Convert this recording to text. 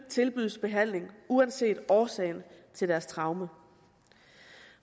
tilbydes behandling uanset årsagen til deres traume